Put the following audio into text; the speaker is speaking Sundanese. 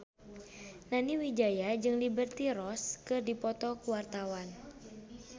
Nani Wijaya jeung Liberty Ross keur dipoto ku wartawan